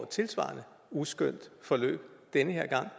tilsvarende uskønt forløb den her gang